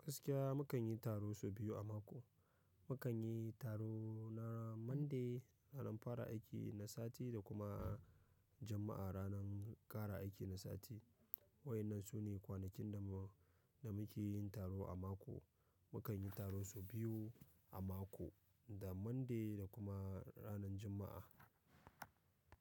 Gaskiya mu kan yi taro sau biyu a mako. Mu kan yi taro na Monday ranar fara aiki na sati da kuma a Juma'a ranar ƙare aiki na sati. Waɗannan su ne kwanakin da mu, da muke yin taro a mako. Mu kan yi taro sau biyu a mako, da Monday da kuma ranar Juma'a.